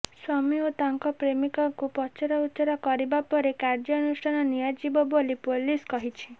ସ୍ବାମୀ ଓ ତାଙ୍କ ପ୍ରେମିକାକୁ ପଚରାଉଚରା କରିବା ପରେ କାର୍ଯ୍ୟାନୁଷ୍ଠାନ ନିଆଯିବ ବୋଲି ପୁଲିସ କହିଛି